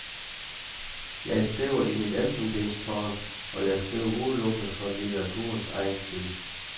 Jeg skriver i mit elfenbenstårn, og jeg skriver udelukkende for litteraturens egen skyld.